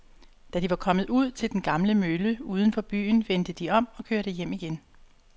Da de var kommet ud til den gamle mølle uden for byen, vendte de om og kørte hjem igen.